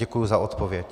Děkuji za odpověď.